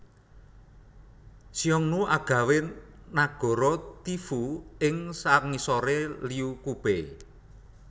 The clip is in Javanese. Xiongnu agawé nagara Tiefu ing sangisoré Liu Qubei